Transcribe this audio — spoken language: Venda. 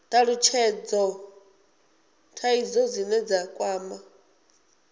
talutshhedza dzithaidzo dzine dza kwama